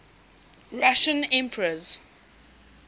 russian emperors